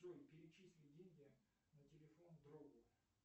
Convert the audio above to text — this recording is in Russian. джой перечисли деньги на телефон другу